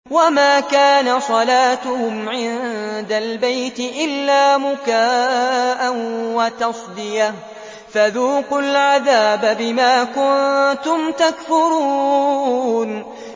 وَمَا كَانَ صَلَاتُهُمْ عِندَ الْبَيْتِ إِلَّا مُكَاءً وَتَصْدِيَةً ۚ فَذُوقُوا الْعَذَابَ بِمَا كُنتُمْ تَكْفُرُونَ